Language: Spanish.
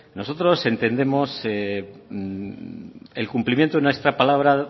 nosotros entendemos el cumplimiento de nuestra palabra